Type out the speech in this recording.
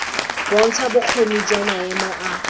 bontsha bokgoni jwa maemo a